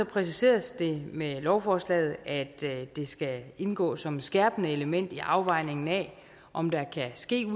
præciseres det med lovforslaget at det skal indgå som et skærpende element i afvejningen af om der kan ske